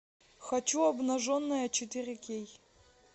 хочу обнаженная четыре кей